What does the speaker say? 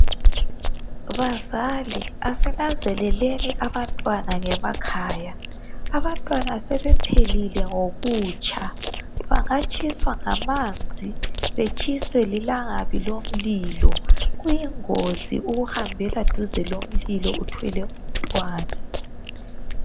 Bazali asinanzeleleni abantwana ngemakhaya, abantwana sebephelile ngokutsha bangatshiswa ngamanzi, betshiswe lilangabi lomlilo. Kuyingozi ukuhambela duze lomlilo uthwele umntwana.